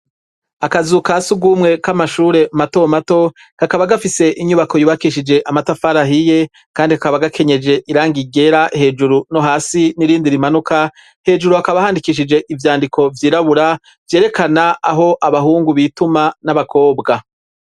Akazu ka sugumwe k'amashure mato mato, kakaba gafise inyubako yubakishije amatafari ahiye, kandi kakaba gakenyeje irangi ryera hejuru no hasi n'irindi rimanuka, hejuru hakaba handikishije ivyandiko vyirabura, vyerekana aho abahungu bituma n'abakobwa.